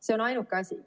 See on ainuke asi.